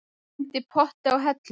Gleymdi potti á hellu